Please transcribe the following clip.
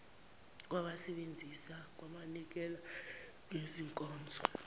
lwabasebenzisi kwabanikeza ngezinkonzo